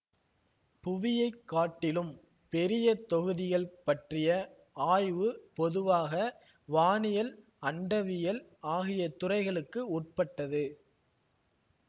புவியைக் காட்டிலும் பெரிய தொகுதிகள் பற்றிய ஆய்வு பொதுவாக வானியல் அண்டவியல் ஆகிய துறைகளுக்கு உட்பட்டது